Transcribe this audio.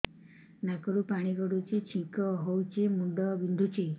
ନାକରୁ ପାଣି ଗଡୁଛି ଛିଙ୍କ ହଉଚି ମୁଣ୍ଡ ବିନ୍ଧୁଛି